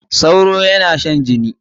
Sauro yana shan jini.